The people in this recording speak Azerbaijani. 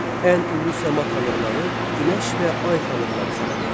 Ən ulu səma tanrıları Günəş və Ay tanrıları sayılırdı.